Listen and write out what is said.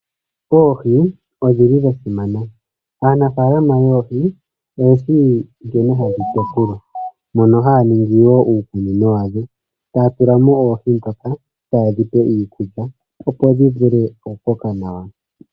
Oohi odhi li dha simana. Aanafaalama yoohi oye shi nkene hadhi tekulwa, mono haya ningi wo uukunino wadho, ta ya tula mo oohi dhawo, ta ye dhi pele mo iikulya, opo dhi vule oku koka nawa.